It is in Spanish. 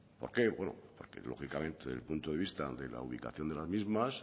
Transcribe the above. por qué bueno porque lógicamente desde el punto de vista de la ubicación de las mismas